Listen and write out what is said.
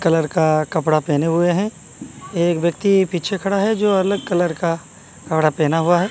Colour का कपड़ा पहने हुए हैं एक व्यक्ति पीछे खड़ा है जो अलग कलर का कपड़ा पहना हुआ है।